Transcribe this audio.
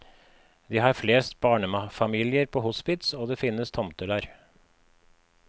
De har flest barnefamilier på hospits, og det finnes tomter der.